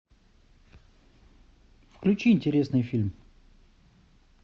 включи интересный фильм